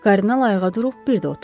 Kardinal ayağa durub bir də oturdu.